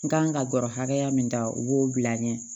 N kan ka gɔrɔ hakɛya min ta u b'o bila n ye